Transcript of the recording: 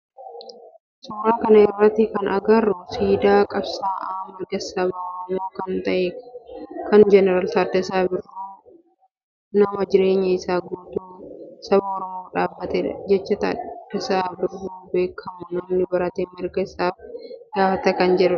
Suuraa kana irratti kana agarru siidaa qabsa'aa mirga saba oromoo kan ta'e kan Taaddasaa Birruuti. Taaddasaa Birruu nama jireenya isaa guutuu saba oromoof dhaabbatedha. Jecha Taaddasaan ittiin beekamu "namni barate mirga isaa gaafata" kan jedhudha.